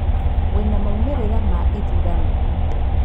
Wĩna maumĩrĩra ma ithurano?